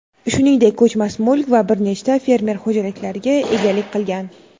shuningdek ko‘chmas mulk va bir nechta fermer xo‘jaliklariga egalik qilgan.